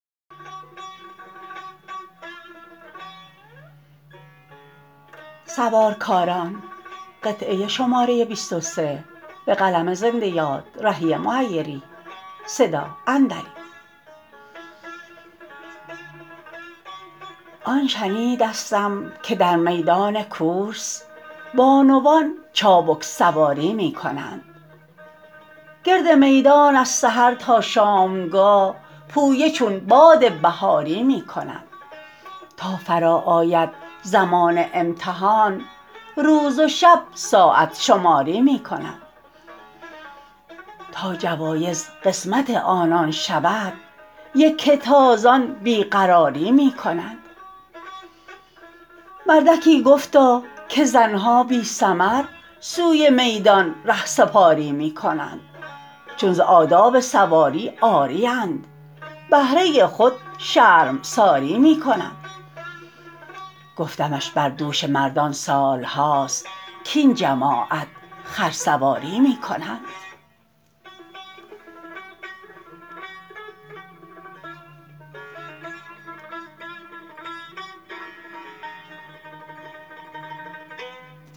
آن شنیدستم که در میدان کورس بانوان چابک سواری می کنند گرد میدان از سحر تا شامگاه پویه چون باد بهاری می کنند تا فرا آید زمان امتحان روز و شب ساعت شماری می کنند تا جوایز قسمت آنان شود یکه تازان بی قراری می کنند مردکی گفتا که زن ها بی ثمر سوی میدان رهسپاری می کنند چون ز آداب سواری عاری اند بهره خود شرمساری می کنند گفتمش بر دوش مردان سال هاست کاین جماعت خرسواری می کنند